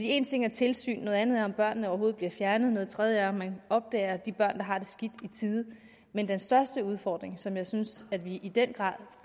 én ting er tilsyn noget andet er om børnene overhovedet bliver fjernet noget tredje er om man opdager de børn der har det skidt i tide men den største udfordring som jeg synes vi i den grad